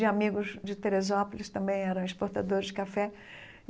de amigos de Teresópolis, também eram exportadores de café.